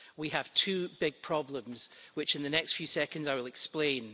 We have two big problems, which in the next few seconds I will explain.